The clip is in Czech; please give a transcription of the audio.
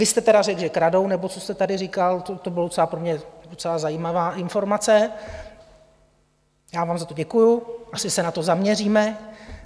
Vy jste teda řekl, že kradou, nebo co jste tady říkal, to byla pro mě docela zajímavá informace, já vám za to děkuju, asi se na to zaměříme.